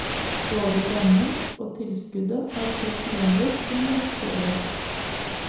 Både rammen og tilskuddet har stått uendret i en rekke år.